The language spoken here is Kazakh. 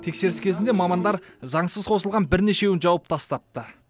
тексеріс кезінде мамандар заңсыз қосылған бірнешеуін жауып тастапты